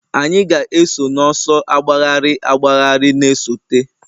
Anyị ga-eso n'ọsọ agbagharị agbagharị na-esote